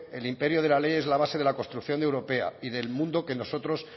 el imperio de la ley es la base de la construcción europea y del mundo que nosotros